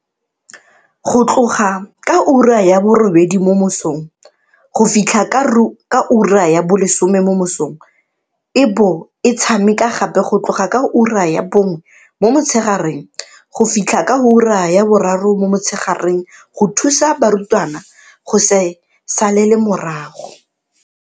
Go tloga ka ura ya borobedi mo mosong go fitlha ka ura ya bo lesome mo mosong e bo e tshameka gape go tloga ka ura ya bongwe mo motshegareng go fitlha ka ura ya boraro mo motshegareng go thusa barutwana go se salele morago.